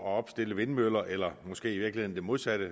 at opstille vindmøller eller måske i virkeligheden det modsatte